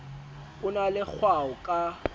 o na le kgwao ka